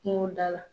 Kungo da la